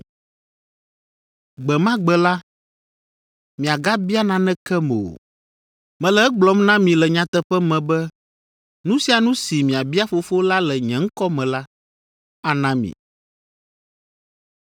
Gbe ma gbe la, miagabia nanekem o. Mele egblɔm na mi le nyateƒe me be nu sia nu si miabia Fofo la le nye ŋkɔ me la, ana mi.